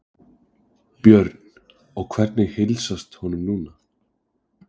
Björn: Og hvernig heilsast honum núna?